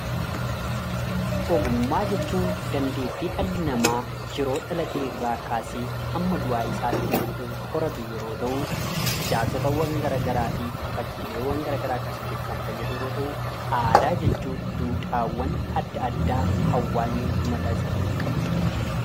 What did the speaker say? Ogummaa jechuun dandettu dhala nama yeroo dhalatee irra kaasse hammaa du'aa isaatti waan hooratuu yommuu ta'u ijarsoota gara garaafi fakkilleewwan gara garaa kaassuuf kan faayaduu yoo ta'u, Aadaa jechuun dudhawwaan adda addaa hawaasni mata isaatiif qabudha.